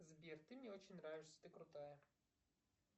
сбер ты мне очень нравишься ты крутая